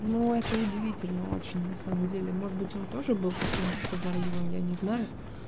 ну это удивительно очень на самом деле может быть он тоже был каким прозорливым я не знаю